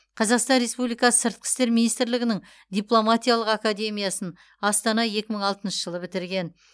қазақстан республикасы сыртқы істер министрлігінің дипломатиялық академиясын астана екі мың алтыншы бітірген